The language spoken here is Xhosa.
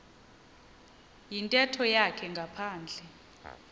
yintetho yakhe ngaphandle